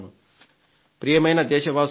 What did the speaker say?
ప్రియమైన దేశవాసులారా